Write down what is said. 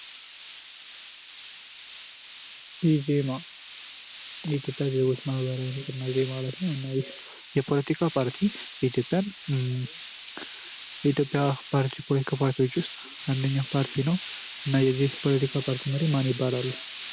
ኢዜማ የኢትዮጵያ ዜግች ማህበራዊ ንቅናቄ ማለት ነው። እና ይህ የፖለቲካ ፓርቲ የኢትዮጵያ ፓሪቲ ከሚባሉት ውስጥ አንደኛው ፓርቲ ነው። እና የዚህ ፖለቲካ ፓርቲ መሪ ማን ይባላሉ?